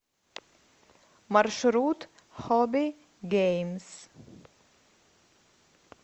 маршрут хобби геймс